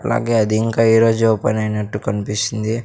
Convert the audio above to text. అలాగే అది ఇంకా ఈ రోజు ఓపెన్ అయినట్టు కనిపిస్తుంది.